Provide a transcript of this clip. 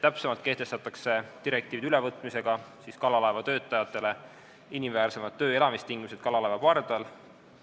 Täpsemalt öeldes kehtestatakse direktiivide ülevõtmisega kalalaevatöötajatele inimväärsemad töö- ja elamistingimused kalalaeva pardal.